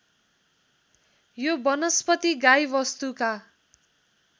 यो वनस्पति गाईवस्तुका